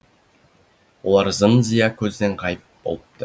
олар зым зия көзден ғайып болыпты